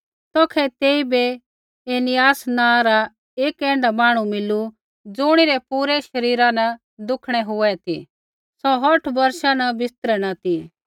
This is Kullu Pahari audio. तौखै तेइबै ऐनियास नाँ रा एक ऐण्ढा मांहणु मिलू ज़ुणिरै पूरै शरीरा न दुखणै हुऐ सौ औठ बौर्षा न बिस्तरै न ती